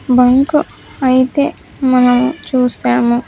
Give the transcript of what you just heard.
Bunk అయితే మనం చూసాము.